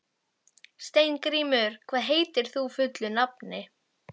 Steingrímur, hvað heitir þú fullu nafni?